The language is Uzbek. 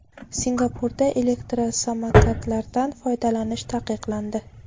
Singapurda elektrosamokatlardan foydalanish taqiqlandi.